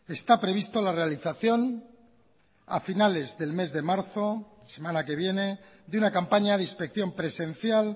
está previsto la realización a finales del mes de marzo semana que viene de una campaña de inspección presencial